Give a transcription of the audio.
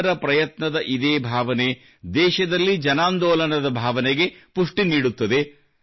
ಎಲ್ಲರ ಪ್ರಯತ್ನದ ಇದೇ ಭಾವನೆ ದೇಶದಲ್ಲಿ ಜನಾಂದೋಲನದ ಭಾವನೆಗೆ ಪುಷ್ಟಿ ನೀಡುತ್ತದೆ